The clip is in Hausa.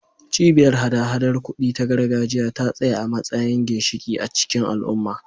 Cibiyar hada-hadar kuɗi ta gargajiya ta tsaya a matsayin ginshiƙi a cikin al'umma.